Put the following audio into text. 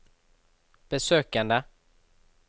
besøkene